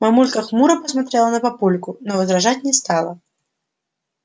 мамулька хмуро посмотрела на папульку но возражать не стала